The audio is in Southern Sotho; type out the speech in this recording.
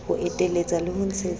ho eteletsa le ho ntshetsa